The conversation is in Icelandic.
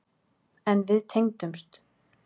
En við tengdumst.